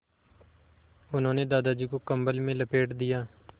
उन्होंने दादाजी को कम्बल में लपेट दिया